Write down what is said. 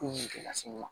Ko in gɛ lasun ma